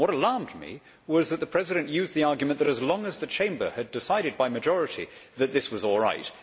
What alarmed me was that the President used the argument that, as long as the Chamber had decided by majority, this was all right.